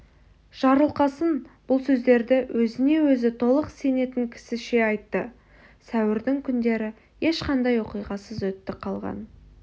жарылқасын бұл сөздерді өзіне өзі толық сенетін кісіше айтты сәуірдің күндері ешқандай оқиғасыз өтті қалған